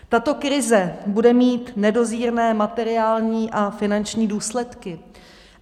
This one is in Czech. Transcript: Tato krize bude mít nedozírné materiální a finanční důsledky.